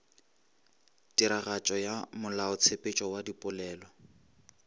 tiragatšo ya molaotshepetšo wa dipolelo